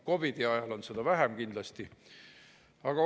COVID‑i ajal on neid kindlasti vähem.